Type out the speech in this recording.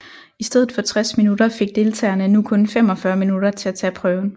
I stedet for 60 minutter fik deltagerne nu kun 45 minutter til at tage prøven